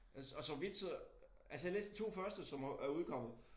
Altså og så vidt så altså jeg har læst 2 første som er er udkommet